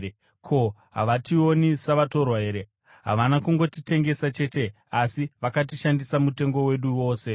Ko, havationi savatorwa here? Havana kungotitengesa chete, asi vakashandisa mutengo wedu wose.